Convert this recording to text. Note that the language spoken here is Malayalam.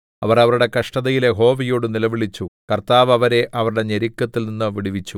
അവർ അവരുടെ കഷ്ടതയിൽ യഹോവയോട് നിലവിളിച്ചു കർത്താവ് അവരെ അവരുടെ ഞെരുക്കങ്ങളിൽനിന്നു വിടുവിച്ചു